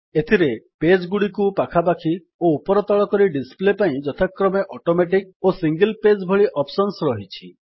ଏଥିରେ ପେଜ୍ ଗୁଡିକୁ ପାଖାପାଖି ଓ ଉପର ତଳ କରି ଡିସପ୍ଲେ ପାଇଁ ଯଥାକ୍ରମେ ଅଟୋମେଟିକ୍ ଓ ସିଙ୍ଗଲ୍ ପେଜ୍ ଭଳି ଅପ୍ସନ୍ସ ରହିଛି